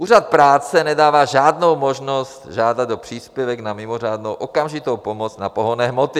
Úřad práce nedává žádnou možnost žádat o příspěvek na mimořádnou okamžitou pomoc na pohonné hmoty.